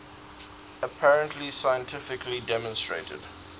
apparently scientifically demonstrated